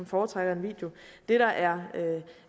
foretrækker video det der er